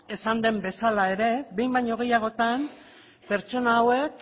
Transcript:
esan den bezala ere behin baino gehiagotan pertsona hauek